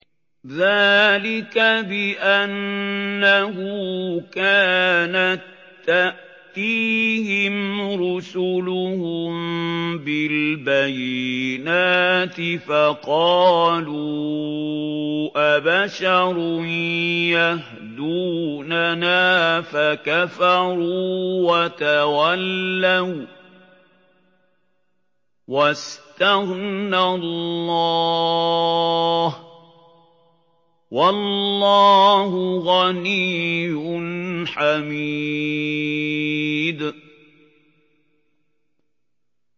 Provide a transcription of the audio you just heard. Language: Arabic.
ذَٰلِكَ بِأَنَّهُ كَانَت تَّأْتِيهِمْ رُسُلُهُم بِالْبَيِّنَاتِ فَقَالُوا أَبَشَرٌ يَهْدُونَنَا فَكَفَرُوا وَتَوَلَّوا ۚ وَّاسْتَغْنَى اللَّهُ ۚ وَاللَّهُ غَنِيٌّ حَمِيدٌ